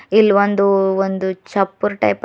ಇಲ್ ಒಂದು ಒಂದು ಚಪ್ಪೂರ್ ಟೈಪ್ ಅದ್--